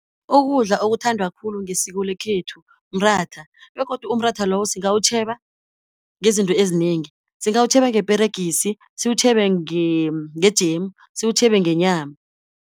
Ukudla okuthandwa khulu ngesiko lekhethu mratha, begodu umratha lowo singawutjheba ngezinto ezinengi, singawutjheba ngeperegisi, siwutjhebe ngejemu, siwutjhebe ngenyama.